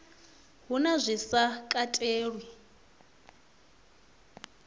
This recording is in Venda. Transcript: hu na zwi sa katelwi